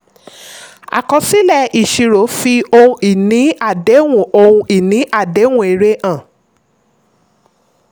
àkọsílẹ̀-ìṣirò fi ohun ìní àdéhùn ohun ìní àdéhùn èrè hàn.